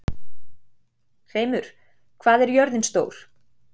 Hreimur, hvað er jörðin stór?